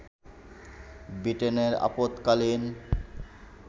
ব্রিটেনের আপদকালীন